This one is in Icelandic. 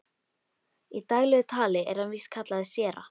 Í daglegu tali er hann víst kallaður séra